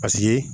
Paseke